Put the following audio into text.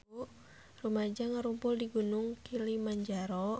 Rumaja ngarumpul di Gunung Kilimanjaro